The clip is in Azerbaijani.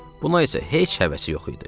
Buna isə heç həvəsi yox idi.